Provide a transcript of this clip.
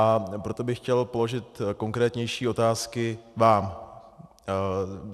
A proto bych chtěl položit konkrétnější otázky vám.